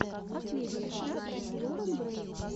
последняя часть лорен грэй